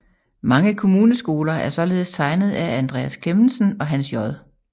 Mange kommuneskoler er således tegnet af Andreas Clemmensen og Hans J